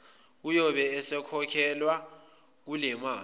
uyobe esekhokhelwa kulemali